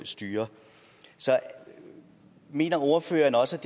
styre så mener ordføreren også